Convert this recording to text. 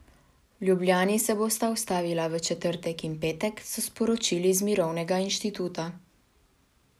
V Ljubljani se bosta ustavila v četrtek in petek, so sporočili iz Mirovnega inštituta.